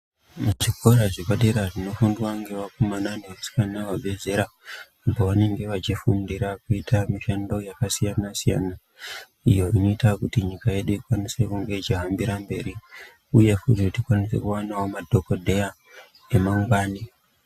Zvikora zvepadera zvinofundwa ngevakomana nevasikana vabve zera pavanenge vachifundira kuita mishando yakasiyana siyana l, iyo inoita kuti nyika yedu ichikwanise kunge ichihambira mberi uye kuti tikwanise kuwanawo madhokodheya emangwani.